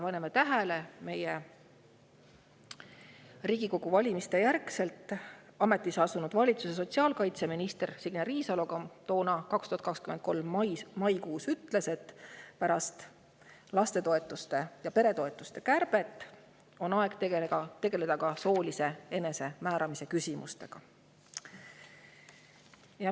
Pange tähele, et Riigikogu valimiste järel ametisse astunud valitsuse sotsiaalkaitseminister Signe Riisalo ütles toona, 2023 maikuus, et pärast lastetoetuste ja peretoetuste kärbet on aeg tegeleda soolise enesemääramise küsimustega.